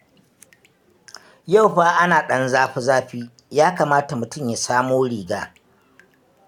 Yau fa ana ɗan zafi-zafi, ya kamata mutum ya samo riga.